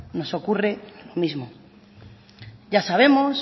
nos ocurre lo mismo ya sabemos